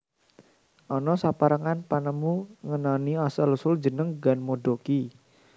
Ana saperangan panemu ngenani asal usul jeneng ganmodoki